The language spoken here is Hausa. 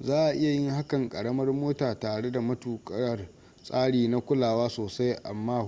za a iya yin hakan karamar mota tare da matukar tsari na kulawa sosai amma